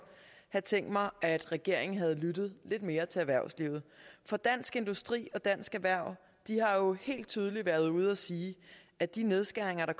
have tænkt mig at regeringen havde lyttet lidt mere til erhvervslivet for dansk industri og dansk erhverv har jo helt tydeligt været ude at sige at de nedskæringer der